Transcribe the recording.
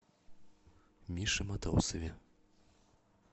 мише матросове